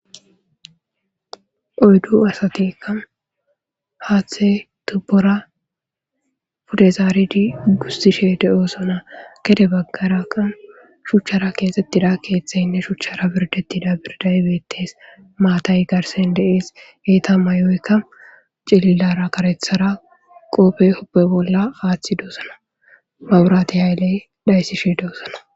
Oyddu asateka haaththe tubbora pudezaaridi gustishe de'oosona gede baggaraqan shuchchara keesettida keeththeynne shuchchara birdettida birday bettes maatay garsen deees yeeta may'oykk cililara karethara qoope hoppe bolla aaththi dosana maburati hayley dayssishe de'osana